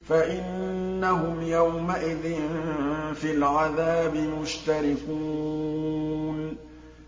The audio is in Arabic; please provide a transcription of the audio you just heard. فَإِنَّهُمْ يَوْمَئِذٍ فِي الْعَذَابِ مُشْتَرِكُونَ